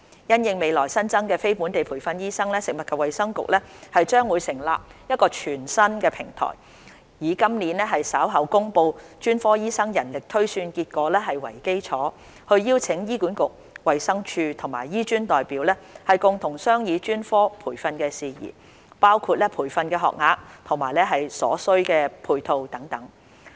因應未來新增的非本地培訓醫生，食物及衞生局將成立一個全新的平台，以今年稍後公布的專科醫生人力推算結果為基礎，邀請醫管局、衞生署及醫專代表共同商議專科培訓事宜，包括培訓學額和所需配套等。